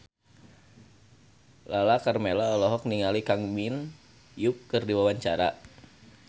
Lala Karmela olohok ningali Kang Min Hyuk keur diwawancara